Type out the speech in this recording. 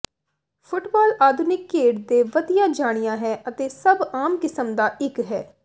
football ਆਧੁਨਿਕ ਖੇਡ ਦੇ ਵਧੀਆ ਜਾਣਿਆ ਹੈ ਅਤੇ ਸਭ ਆਮ ਕਿਸਮ ਦਾ ਇੱਕ ਹੈ